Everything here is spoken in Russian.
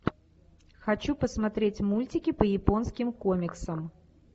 хочу посмотреть мультики по японским комиксам